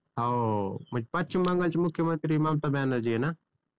हाओ म्हणजे पश्चिम बंगाल चे मुख्यमंत्री ममता बॅनर्जी आहेत ना?